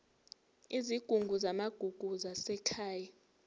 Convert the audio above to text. izigungu zamagugu zasekhaya